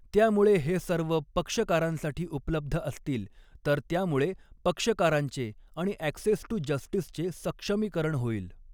त्यामुळे हे सर्व पक्षकारांसाठी उपलब्ध असतील तर त्यामुळे पक्षकारांचे आणि ॲक्सेस टू जस्टीसचे सक्षमीकरण होईल.